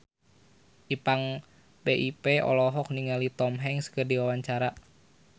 Ipank BIP olohok ningali Tom Hanks keur diwawancara